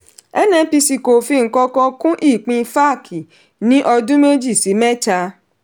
nnpc kò fi nkankan kun ipin faac ni ọdún méjì sí mẹta.